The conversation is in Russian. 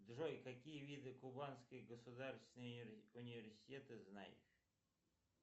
джой какие виды кубанский государственный университет ты знаешь